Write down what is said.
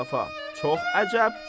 Çox əcəb.